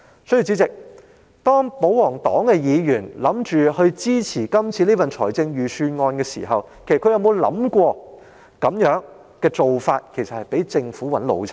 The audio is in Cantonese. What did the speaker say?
所以，主席，當保皇黨議員打算支持今次的預算案時，他們其實可有想過這樣做會被政府擺了一道？